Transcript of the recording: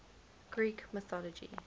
greek mythology